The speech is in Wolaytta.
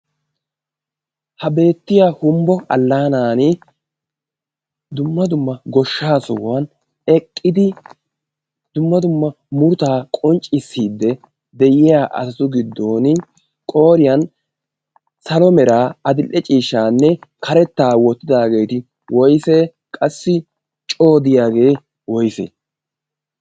ha beettiya humbbo allaanan dumma dumma goshshaa sohuwan eqqidi dumma dumma murttaa qoncciissiidde de'iya asatu giddon qoriyan salomeeraa adil'e ciishshaanne karettaa woottidaageeti woyse qassi coodiyaagee woyse?